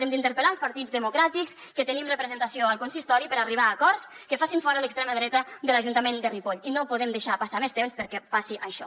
hem d’interpel·lar els partits democràtics que tenim representació al consistori per arribar a acords que facin fora l’extrema dreta de l’ajuntament de ripoll i no podem deixar passar més temps perquè passi això